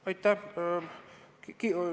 Aitäh!